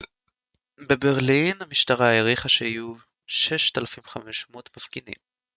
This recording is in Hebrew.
בברלין המשטרה העריכה שהיו 6,500 מפגינים